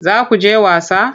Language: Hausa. Za ku je wasa?